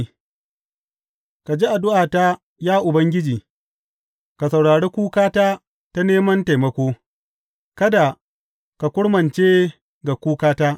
Sela Ka ji addu’ata, ya Ubangiji, ka saurari kukata ta neman taimako; kada ka kurmance ga kukata.